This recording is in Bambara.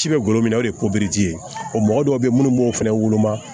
Ci bɛ golo min na o de ye ye ɔ mɔgɔ dɔw bɛ yen minnu b'o fɛnɛ woloma